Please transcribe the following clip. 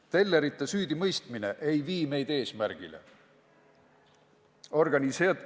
Tellerite süüdimõistmine ei vii meid eesmärgini.